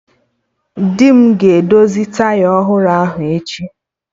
Di m ga-edozi taya ọhụrụ ahụ echi